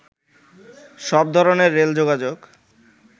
সব ধরনের রেল যোগাযোগ